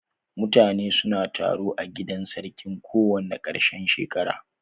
Mutane su na taro a gidan sarkin kowane ƙarshen shekara.